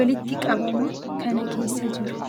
walitti qabama kana keessa jiru.